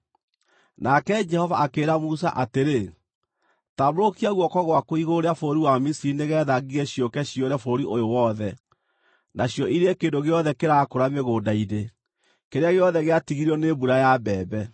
Nake Jehova akĩĩra Musa atĩrĩ, “Tambũrũkia guoko gwaku igũrũ rĩa bũrũri wa Misiri nĩgeetha ngigĩ ciũke ciyũre bũrũri ũyũ wothe, nacio irĩe kĩndũ gĩothe kĩrakũra mĩgũnda-inĩ, kĩrĩa gĩothe gĩatigirio nĩ mbura ya mbembe.”